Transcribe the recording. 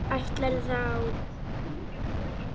Ætlarðu þá.?